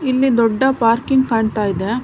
ಇಲ್ಲಿ ದೊಡ್ಡ ಪಾರ್ಕಿಂಗ್ ಕಾಣ್ತಾ ಇದೆ.